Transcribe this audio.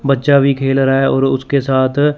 बच्चा भी खेल रहा है और उसके साथ--